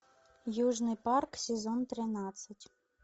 южный парк сезон тринадцать